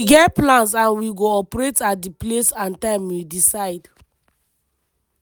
"we get plans and we go operate at di place and time we decide.”